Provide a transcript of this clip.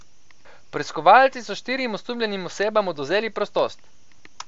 Preiskovalci so štirim osumljenim osebam odvzeli prostost.